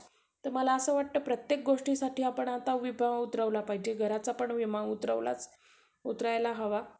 किंवा कोणी आह मंत्र्या सोबत बोलायची राहील किंवा कोना officer सोबत बोलायचं राहाला. तर ते recording होते ना.